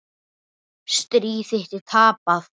Stríð þitt er tapað.